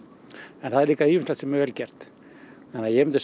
en það er líka ýmislegt sem er vel gert þannig að ég myndi segja